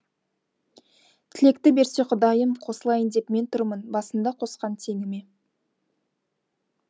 тілекті берсе құдайым қосылайын деп мен тұрмын басында қосқан теңіме